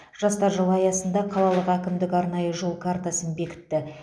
жастар жылы аясында қалалық әкімдік арнайы жол картасын бекітті